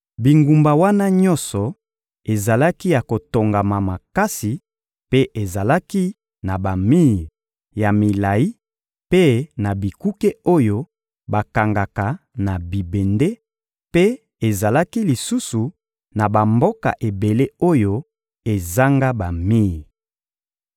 Bingumba wana nyonso ezalaki ya kotongama makasi mpe ezalaki na bamir ya milayi mpe na bikuke oyo bakangaka na bibende mpe ezalaki lisusu na bamboka ebele oyo ezanga bamir.